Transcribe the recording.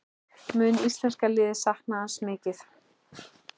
Mun íslenska liðið sakna hans mikið?